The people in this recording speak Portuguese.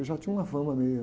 Eu já tinha uma fama minha.